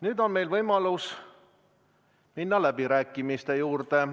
Nüüd on meil võimalus minna läbirääkimiste juurde.